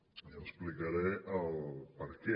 i explicaré el perquè